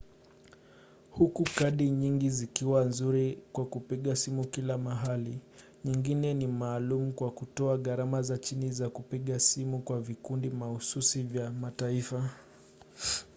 huku kadi nyingi zikiwa nzuri kwa kupiga simu kila mahali nyingine ni maalumu kwa kutoa gharama za chini za kupiga simu kwa vikundi mahususi vya mataifa